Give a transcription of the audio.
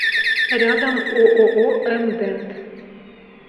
рядом ооо м дент